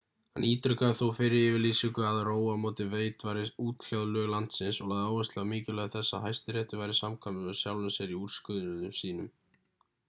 hann ítrekaði þó fyrri yfirlýsingu að roe á móti wade væru útkljáð lög landsins og lagði áherslu á mikilvægi þess að hæstiréttur væri samkvæmur sjálfum sér í úrskurðum sínum